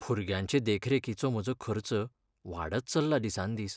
भुरग्यांचे देखरेखीचो म्हजो खर्च वाडत चल्ला दिसान दीस.